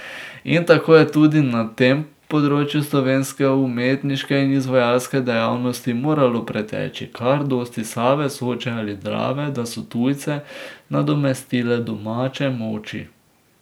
In tako je tudi na tem področju slovenske umetniške in izvajalske dejavnosti moralo preteči kar dosti Save, Soče ali Drave, da so tujce nadomestile domače moči.